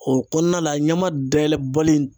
O kɔnɔna la ɲama dayɛlɛbali